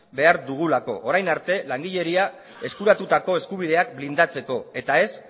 behar dugulako orain arte langileria eskuratutako eskubideak blindatzeko eta ez